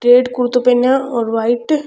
pant कुरता पहनिया और व्हाइट --